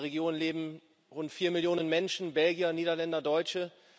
In dieser Region leben rund vier Millionen Menschen Belgier, Niederländer, Deutsche.